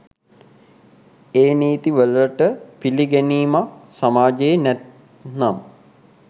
ඒ නීති වලට පිළිගැනීමක් සමාජයේ නැත්නම්.